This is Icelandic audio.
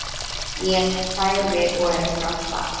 Níels hlær við og ekur af stað.